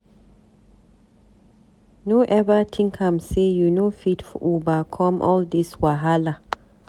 No eva tink am sey you no fit overcome all dis wahala.